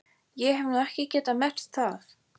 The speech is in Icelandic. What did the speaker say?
Ég hef nú ekki getað merkt það.